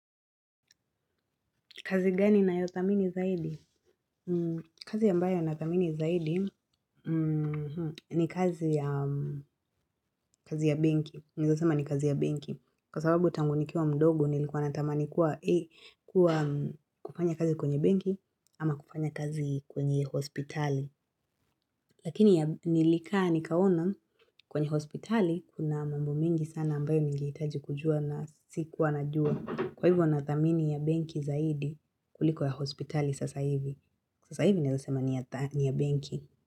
Kazi gani nayothamini zaidi? Kazi ambayo nathamini zaidi ni kazi ya benki. Ninaezasema ni kazi ya benki. Kwa sababu tangu nikiwa mdogo nilikuwa natamani kuwa kufanya kazi kwenye benki ama kufanya kazi kwenye hospitali. Lakini nilikaa nikaona kwenye hospitali kuna mambo mingi sana ambayo nigehitaji kujua na sikuwa najua. Kwa hivyo nathamini ya benki zaidi kuliko ya hospitali sasa hivi, sasa hivi newezasema ni ya benki.